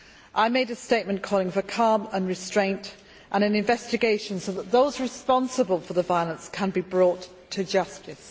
I made a statement calling for calm and restraint and an investigation so that those responsible for the violence can be brought to justice.